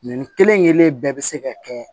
Nin kelen kelen bɛɛ bɛ se ka kɛ